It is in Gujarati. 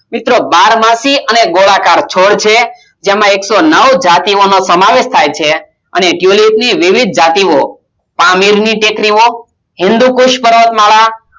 મિત્રો બારમાસી અને ગોળાકાર છોડ છે જેમાં એકસો નવ જાતિઓનો સમાવેશ થાય છે અને tulip ની વિવિધ જાતિઓ પામીરની ટેકરીઓ હિન્દુકૂષ પર્વતમાળા